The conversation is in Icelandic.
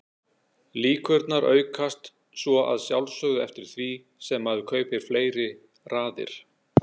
Líkurnar aukast svo að sjálfsögðu eftir því sem maður kaupir fleiri raðir.